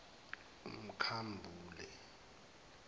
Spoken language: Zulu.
umkhambule